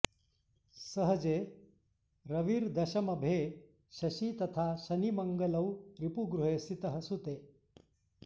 सहजे रविर्दशमभे शशी तथा शनिमङ्गलौ रिपुगृहे सितः सुते